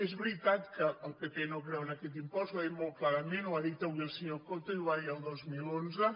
és veritat que el pp no creu en aquest impost ho ha dit molt clarament ho ha dit avui el senyor coto i ho va dir el dos mil onze